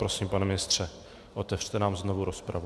Prosím, pane ministře, otevřte nám znovu rozpravu.